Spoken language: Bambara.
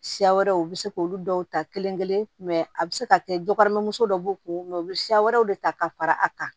Siya wɛrɛw u bɛ se k'olu dɔw ta kelen kelen a bɛ se ka kɛ jokɔrɔmuso dɔ b'u kun u bɛ siya wɛrɛw de ta ka fara a kan